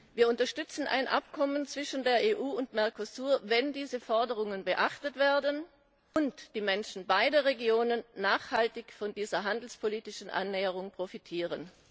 Wir unterstützen ein Abkommen zwischen der EU und Mercosur, wenn diese Forderungen beachtet werden und die Menschen beider Regionen nachhaltig von dieser handelspolitischen Annäherung profitieren.